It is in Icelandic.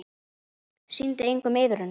Sýndi enginn iðrun?